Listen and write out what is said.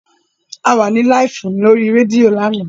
A wà ní láìfù ní orí rédíò lánàá